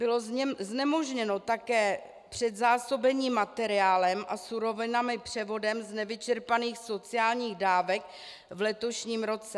Bylo znemožněno také předzásobení materiálem a surovinami převodem z nevyčerpaných sociálních dávek v letošním roce.